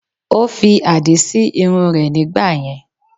Ó fi àdí sí irun rẹ̀ nígbàyẹn